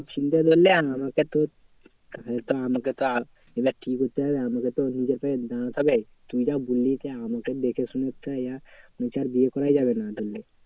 চিন্তা ধরলে আমাকে তো আমাকে তো ধরলে আমাকে তো নিজের পায়ে দাঁড়াতে হবে। তুই যা বললি যে আমাকে দেখেশুনে একটু ইয়া মনে হচ্ছে আর বিয়ে করাই যাবে না ধরলে